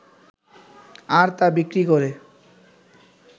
আর তা বিক্রি করে